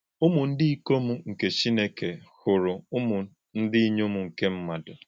Ụ́mụ̀ ndí íkóm nké Chìnékè hụ̀rụ̀ Ụ́mụ̀ ndí ìnyóm nké mmádụ.